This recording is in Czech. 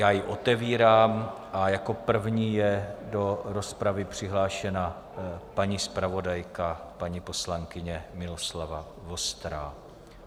Já ji otevírám a jako první je do rozpravy přihlášena paní zpravodajka paní poslankyně Miloslava Vostrá.